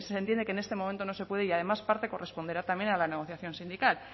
se entiende que en este momento no se puede y además parte corresponderá también a la negociación sindical